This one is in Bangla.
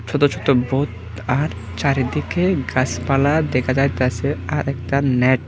ছোট ছোট ভোত আর চারিদিকে গাছপালা দেখা যাইতেছে আর একটা নেট ।